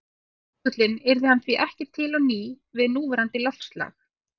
Hyrfi jökullinn yrði hann því ekki til á ný við núverandi loftslag.